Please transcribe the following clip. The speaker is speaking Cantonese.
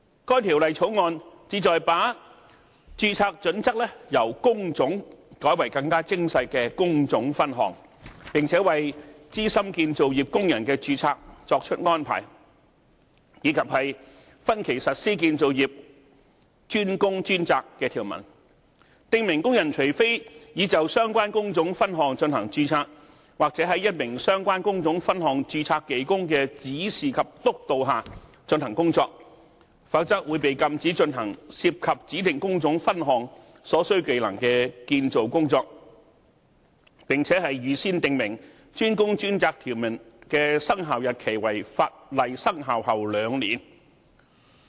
該《條例草案》旨在把註冊準則由工種改為更為精細的工種分項，並且為資深建造業工人的註冊作出安排，以及分期實施建造業"專工專責"的條文，訂明工人除非已就相關工種分項進行註冊，或在一名相關工種分項註冊技工的指示及督導下進行工作，否則會被禁止進行涉及指定工種分項所需技能的建造工作，並且預先訂明"專工專責"條文的生效日期為法例生效後兩年。